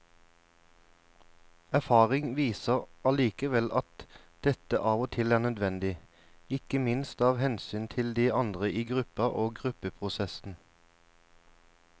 Erfaring viser allikevel at dette av og til er nødvendig, ikke minst av hensyn til de andre i gruppa og gruppeprosessen.